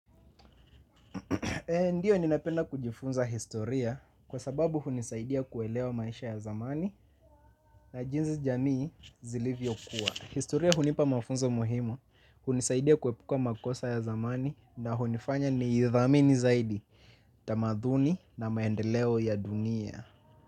Ndiyo ninapenda kujifunza historia kwa sababu hunisaidia kuelewa maisha ya zamani na jinsi jamii zilivyokuwa. Historia hunipa mafunzo muhimu, hunisaidia kuepuka makosa ya zamani na hunifanya niithamini zaidi, tamaduni na maendeleo ya dunia.